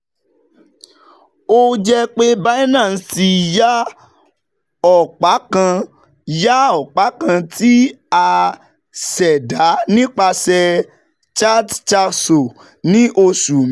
O jẹ pe Binance ti ya ọpa kan ya ọpa kan ti a ṣẹda nipasẹ Chatcasso ni oṣu meji